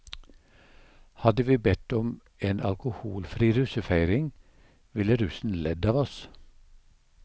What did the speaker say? Hadde vi bedt om en alkoholfri russefeiring, ville russen ledd av oss.